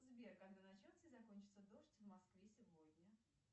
сбер когда начнется и закончится дождь в москве сегодня